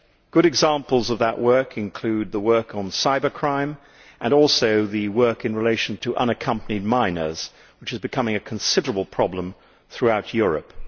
Good examples of that work include the work on cybercrime and in relation to unaccompanied minors, which is becoming a considerable problem throughout Europe.